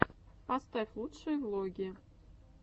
поставь лучшие влоги